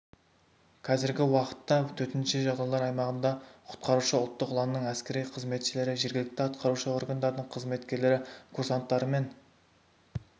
қазіргі уақытта төтенше жағдайлар аймағында құтқарушы ұлттық ұланның әскери қызметшілері жергілікті атқарушы органдардың қызметкерлері курсанттары мен